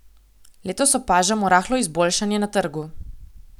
Letos opažamo rahlo izboljšanje na trgu.